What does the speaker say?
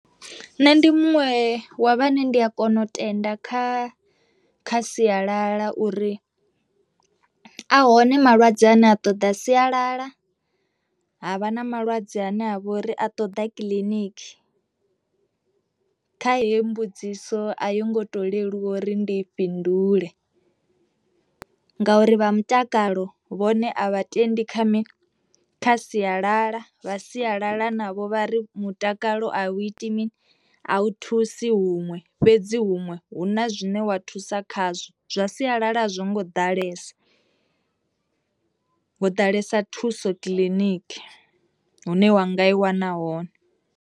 Nṋe ndi muṅwe wa vhane ndi a kona u tenda kha kha sialala uri ahone malwadze ane a ṱoḓa sialala, havha na malwadze ane a vha uri a ṱoḓa kiḽiniki kha heyo mbudziso a yo ngo to leluwa uri ndi fhindule ngauri vha mutakalo vhone a vha tendi kha mi kha sialala vha sialala navho vha ri mutakalo a u iti mini a hu thusi huṅwe fhedzi huṅwe hu na zwine wa thusa khazwo, zwa sialala a zwo ngo ḓalesa ho ḓalesa thuso kiḽiniki hune wanga i wana hone.